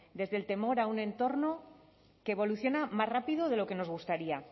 desde el temor a un entorno que evoluciona más rápido de lo que nos gustaría